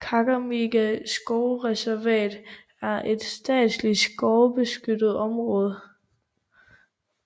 Kakamega skovsreservat er et statsligt skovbeskyttelsesområde i den nordlige del af Kakamegaskoven i det vestlige Kenya